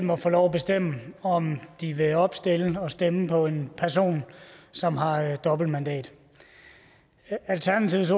må få lov at bestemme om de vil opstille og stemme på en person som har et dobbeltmandat alternativets